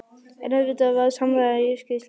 En auðvitað var samræmi í skýrslunum.